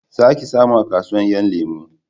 Za ki samu a kasuwan 'yan lemo